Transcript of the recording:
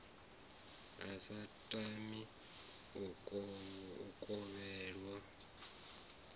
a sa tami u kovhelwa